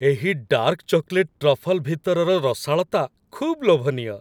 ଏହି dark chocolate truffle ଭିତରର ରସାଳତା ଖୁବ୍ ଲୋଭନୀୟ।